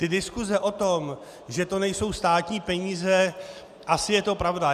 Ty diskuse o tom, že to nejsou státní peníze - asi je to pravda.